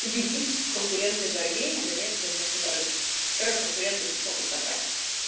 победить в конкурентной борьбе и занять своё место на рынке которое конкуренты не смогут забрать